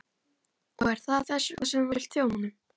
Og er það þess vegna sem þú vilt þjóna honum?